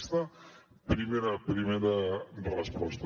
aquesta primera resposta